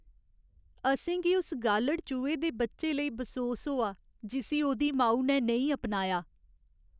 अ'सेंगी उस गालढ़ चूहे दे बच्चे लेई बसोस होआ जिस्सी ओह्दी माऊ ने नेईं अपनाया।